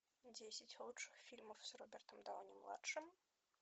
десять лучших фильмов с робертом дауни младшим